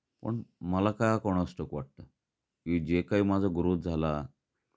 पण मला का कोणास ठाऊक वाटतं, की जे काही माझा ग्रोथ झाला.